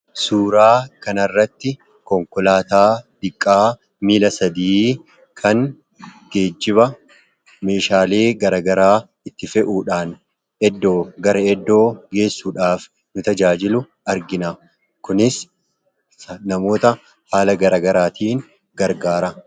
Suuraa kanarratti konkolaataa xiqqaa miila sadii kan geejjiba meeshaalee garaagaraa itti fe'uudhaan gara iddoo geejjibaa geessuudhaaf nu tajaajilu argina. Kunis namoota haala garagaraatiin gargaara.